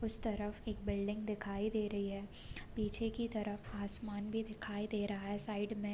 उस तरफ एक बिल्डिंग दिखाई दे रही है पीछे की तरफ आसमान भी दिखाई दे रहा है साइड में --